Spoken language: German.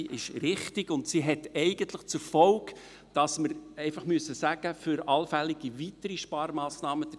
Sie ist richtig und hat zur Folge, dass wir für allfällige weitere Sparmassnahmen einfach sagen müssen: